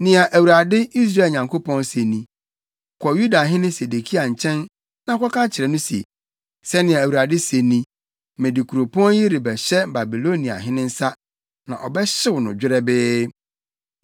“Nea Awurade, Israel Nyankopɔn se ni: Kɔ Yudahene Sedekia nkyɛn na kɔka kyerɛ no se, ‘Sɛnea Awurade se ni: Mede kuropɔn yi rebɛhyɛ Babiloniahene nsa, na ɔbɛhyew no dwerɛbee.